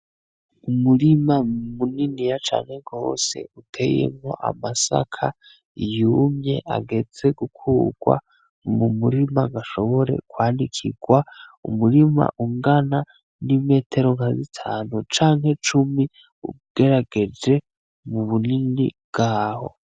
Umurima muniniya cane gose uteyemwo amasaka yumye ageze gukugwa mumurima bashobore kwanikigwa umurima ungana n'imetero nka zitanu canke cumi ugerageje mubunini bwaho